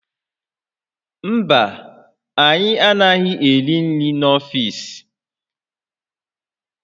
Mba, anyị anaghị eri nri n'ọfiisi